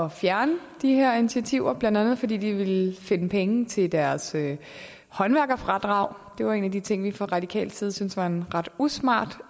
at fjerne de her initiativer blandt andet fordi de ville finde penge til deres håndværkerfradrag det var en af de ting som vi fra radikal side syntes var en ret usmart